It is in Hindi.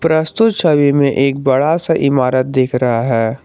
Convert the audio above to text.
प्रस्तुत छवि में एक बड़ा सा इमारत दिख रहा है।